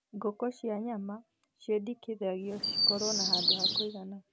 Ngũkũ cia nyama ciendekithagio cikorũo na handũ ha kũigana